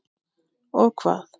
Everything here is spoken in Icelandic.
Og hvað.?